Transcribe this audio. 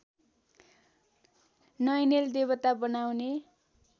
नैनेल देवता बनाउने